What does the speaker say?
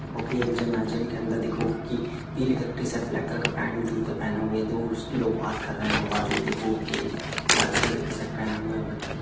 देखो कि एक जिम है जिम के अंदर देखोगे कि पीले कलर की टी-शर्ट ब्लैक कलर का पैंट जूते पहने हुए दोस्त लोग बात कर रहे हैं और बाजू में देखोगे एक लाल कलर की टी-शर्ट पहने हुए व्यक्ति --